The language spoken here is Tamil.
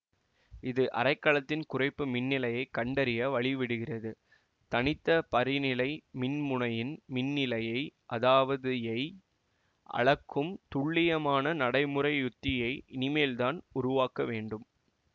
இது அரைக்கலத்தின் குறைப்பு மின்னிலையைக் கண்டறிய வழிவிடுகிறது தனித்த பரிநிலை மின்முனையின் மின்னிலையை அதாவது யை அளக்கும் துல்லியமான நடைமுறை உத்தியை இனிமேல்தான் உருவாக்கவேண்டும்